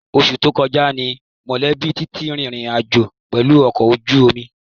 Oṣù tó kọjá ni mọ̀lẹ́bí Titi rìnrìn àjò pẹ̀lú ọkọ̀ ojú omi